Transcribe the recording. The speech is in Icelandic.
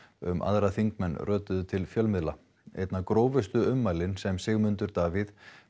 um aðra þingmenn rötuðu til fjölmiðla einna grófustu ummælin sem Sigmundur Davíð